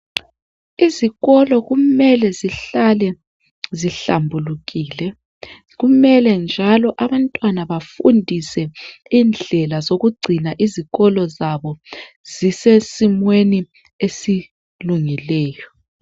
Izikolo kumele zihlale zihlambulukile kumele njalo abantwana bafundiswe indlela zokugcina izikolo zabo zisesimeni esilungileyo.